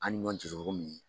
An ni ɲɔgɔn min